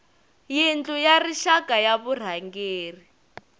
yindlu ya rixaka ya varhangeri